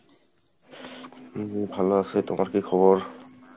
জি ভালো আছি তোমার কী খবর?